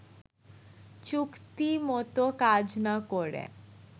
চুক্তিমতো কাজ না করে